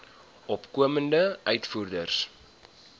opkomende uitvoerders